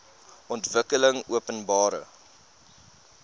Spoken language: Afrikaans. ontwikkelingopenbare